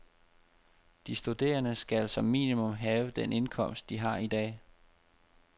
De studerende skal som minimum have den indkomst, de har i dag.